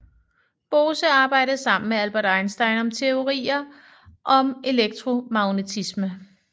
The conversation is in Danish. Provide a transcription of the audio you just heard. Bose arbejdede sammen med Albert Einstein om teorier om elektromagnetisme